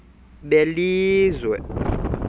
belizwe